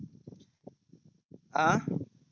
अं